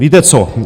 Víte co?